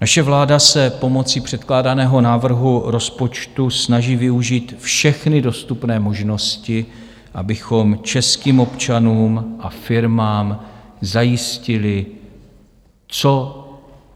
Naše vláda se pomocí předkládaného návrhu rozpočtu snaží využít všechny dostupné možnosti, abychom českým občanům a firmám zajistili co